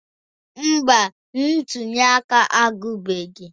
Mba, ntuli aka agwụbeghị